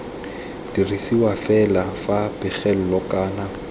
dirisiwa fela fa pegelo kana